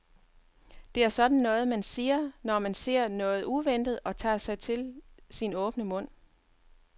Det er sådan noget, man siger, når man ser noget uventet og tager sig til sin åbne mund.